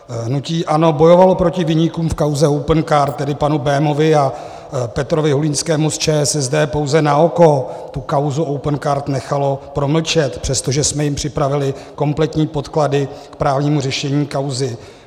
Hnutí ANO bojovalo proti viníkům v kauze Opencard, tedy panu Bémovi a Petrovi Hulinskému z ČSSD, pouze na oko, tu kauzu Opencard nechalo promlčet, přestože jsme jim připravili kompletní podklady k právnímu řešení kauzy.